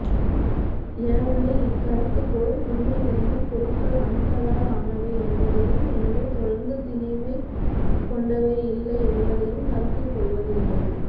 எனவை இக்கருதுகோள் உண்மைநிலையில் பொருட்கள் அணுக்களால் ஆனவை என்பதையும் எனவே தொடர்ந்த திணைவை கொண்டவை இல்லை என்பதையும் கருத்தில் கொள்வதில்லை